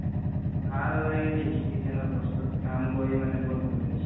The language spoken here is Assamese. ভাল লাগে যে electrician ৰ বস্তুতোত কাম কৰি মানে বহুত ভাল লাগে